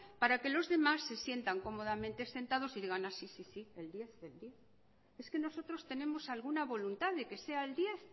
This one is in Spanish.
para que los demás se sientan cómodamente sentados y digan sí sí el diez el diez es que nosotros tenemos alguna voluntad de que sea el diez